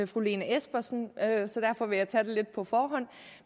fru lene espersen så derfor vil jeg tage det lidt på forhånd